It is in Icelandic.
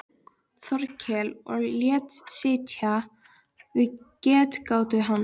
Þórkel og lét sitja við getgátu hans.